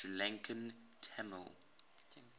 sri lankan tamil